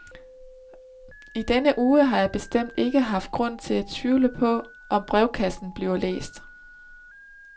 I denne uge har jeg bestemt ikke haft grund til at tvivle på, om brevkassen bliver læst.